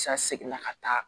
Sa seginna ka taa